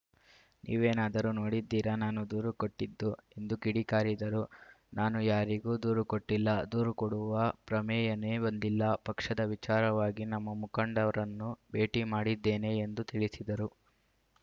ನೀವೇನಾದರೂ ನೋಡಿದ್ದೀರಾ ನಾನು ದೂರು ಕೊಟ್ಟಿದ್ದು ಎಂದು ಕಿಡಿಕಾರಿದರು ನಾನೂ ಯಾರಿಗೂ ದೂರುಕೊಟ್ಟಿಲ್ಲ ದೂರು ಕೊಡುವ ಪ್ರಮೇಯನೇ ಬಂದಿಲ್ಲ ಪಕ್ಷದ ವಿಚಾರವಾಗಿ ನಮ್ಮ ಮುಖಂಡರನ್ನು ಭೇಟಿ ಮಾಡಿದ್ದೇನೆ ಎಂದು ತಿಳಿಸಿದರು